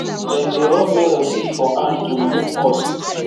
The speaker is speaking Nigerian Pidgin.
dem dey rub melon seed for hand to remove husk